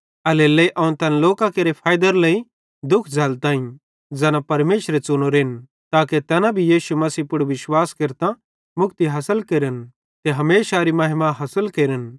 एल्हेरेलेइ अवं तैन लोकां केरे फैइदेरे लेइ दुःख झ़ल्लताईं ज़ैना परमेशरे च़ुनोरेन ताके तैना भी यीशु मसीह पुड़ विश्वास केरतां मुक्ति हासिल केरन ते हमेशारी महिमा हासिल केरन